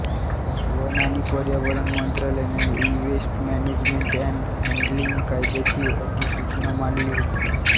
one आणि पर्यावरण मंत्रालयाने ईवेस्ट मॅनेजमेंट एन्ड हॅंडलिंग कायद्याची अधिसूचना मांडली होती